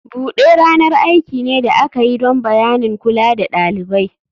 Bude ranar aiki ne da aka yi don bayanin kula da ɗalibai.